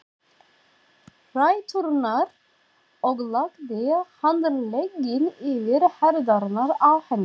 ræturnar og lagði handlegginn yfir herðarnar á henni.